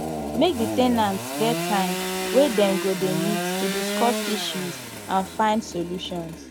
make di ten ants get time wey dem go de meet to discuss issues and find solutions